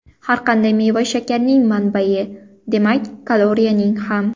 Har qanday meva shakarning manbai, demak kaloriyaning ham.